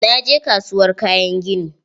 Na je kasuwar kayan gini.